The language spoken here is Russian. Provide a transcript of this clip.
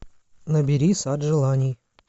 набери сад желаний